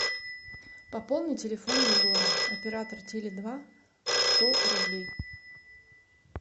пополни телефон егора оператор теле два сто рублей